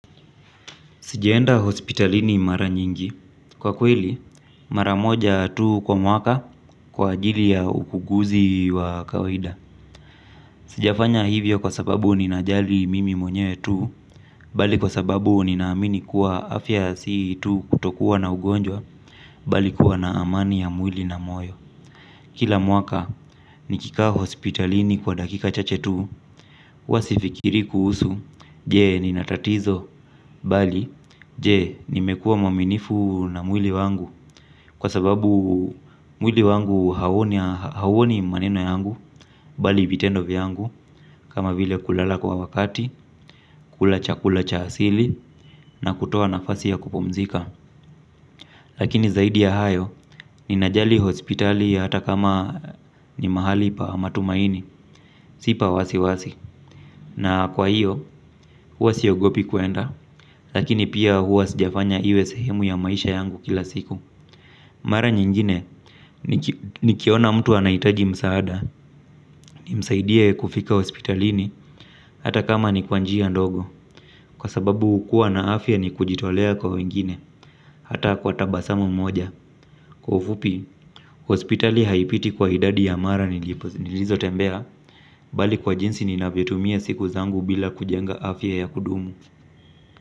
Sijaenda hospitalini mara nyingi. Kwa kweli, mara moja tu kwa mwaka kwa ajili ya ukuguzi wa kawida. Sijafanya hivyo kwa sababu ninajali mimi mwenyewe tu bali kwa sababu ninaamini kuwa afya si tu kutokuwa na ugonjwa bali kuwa na amani ya mwili na moyo. Kila mwaka nikikaa hospitalini kwa dakika chache tu, huwa sifikiri kuhusu je nina tatizo, bali je nimekuwa mwaminifu na mwili wangu. Kwa sababu mwili wangu hauoni maneno yangu bali vitendo vyangu kama vile kulala kwa wakati, kula chakula cha asili na kutoa nafasi ya kupumzika. Lakini zaidi ya hayo, ninajali hospitali hata kama ni mahali pa matumaini, si pa wasiwasi. Na kwa hiyo, hua siogopi kuenda, lakini pia hua sijafanya iwe sehemu ya maisha yangu kila siku. Mara nyingine, nikiona mtu anahitaji msaada nimsaidie kufika hospitalini hata kama ni kwa njia ndogo. Kwa sababu kuwa na afya ni kujitolea kwa wengine, hata kwa tabasamu moja. Kwa ufupi, hospitali haipiti kwa idadi ya mara nilizo tembea, bali kwa jinsi ninavyotumia siku zangu bila kujenga afya ya kudumu.